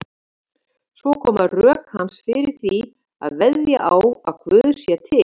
Svo koma rök hans fyrir því að veðja á að Guð sé til.